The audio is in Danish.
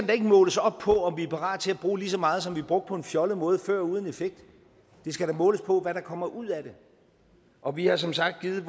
da ikke måles op på om vi er parate til at bruge lige så meget som vi brugte på en fjollet måde før uden effekt det skal da måles på hvad der kommer ud af det og vi har som sagt givet